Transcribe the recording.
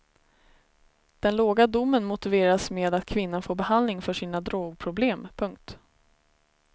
Den låga domen motiveras med att kvinnan får behandling för sina drogproblem. punkt